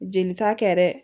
Jelita kɛ dɛ